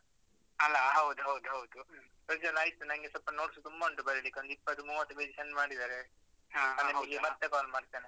ಅಲಾ ಹೌದು ಹೌದು ಹೌದು. ಪ್ರಜ್ವಲ್ ಆಯ್ತು ನಂಗೆ ಸ್ವಲ್ಪ notes ತುಂಬಾ ಉಂಟು ಬರೀಲಿಕ್ಕೆ ಒಂದು ಇಪ್ಪತ್ತು ಮೂವತ್ತು page send ಮಾಡಿದ್ದಾರೆ. ಅದ್ಕೆ ನಿನ್ಗೆ ಮತ್ತೆ call ಮಾಡ್ತೇನೆ.